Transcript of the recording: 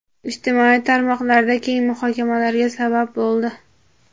ijtimoiy tarmoqlarda keng muhokamalarga sabab bo‘ldi.